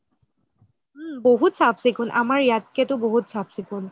উম বহুত চাফ চিকুন আমাৰ ইয়াতকে টো বহুত চাফ চিকুন